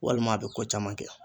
Walima a bi ko caman kɛ